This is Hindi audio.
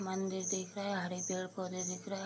मंदिर दिख रहा है हरे पेड़-पौधे दिख रहा है।